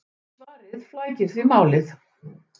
Svarið flækir því málið!